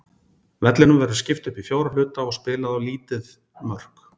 Vellinum verður skipt upp í fjóra hluta og spilað á lítið mörk.